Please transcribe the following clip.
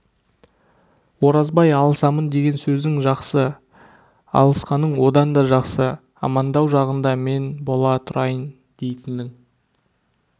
оразбай алысамын деген сөзің жақсы алысқаның одан да жақсы амандау жағында мен бола тұрайын дейтінің